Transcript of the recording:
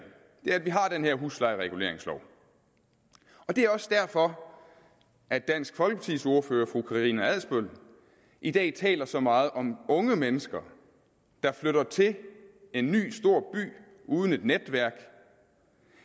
det er at vi har den her huslejereguleringslov det er også derfor at dansk folkepartis ordfører fru karina adsbøl i dag taler så meget om unge mennesker der flytter til en ny stor by uden et netværk